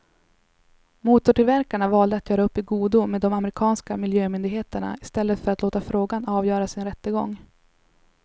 Motortillverkarna valde att göra upp i godo med de amerikanska miljömyndigheterna i stället för att låta frågan avgöras i en rättegång.